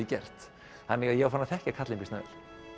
gert þannig að ég var farinn að þekkja kallinn býsna vel